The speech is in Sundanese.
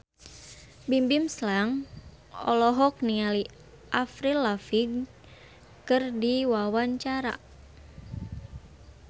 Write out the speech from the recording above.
Bimbim Slank olohok ningali Avril Lavigne keur diwawancara